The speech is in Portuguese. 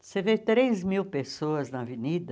Você vê três mil pessoas na avenida,